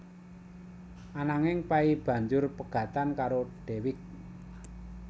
Ananging Pay banjur pegatan karo Dewiq